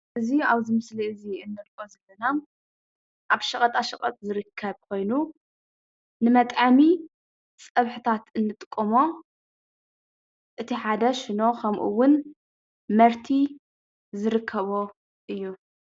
እዚ ኣብዚ ምስሊ እዚ ንሪኦ ዘለና ኣብ ሸቐጣ ሸቐጥ ዝርከብ ኮይኑ ንመጥዐሚ ፀብሕታት እንጥቀሞ እቲ ሓደ ሽኖ ከምኡውን መርቲ ዝርከቦ እዩ፡፡